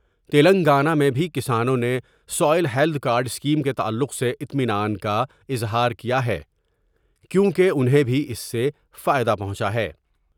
تلنگانہ میں بھی کسانوں نے سوئیل ہیلت کارڈ اسکیم کے تعلق سے اطمینان کا اظہار کیا ہے کیوں کہ انہیں بھی اس سے فائدہ پہنچا ہے ۔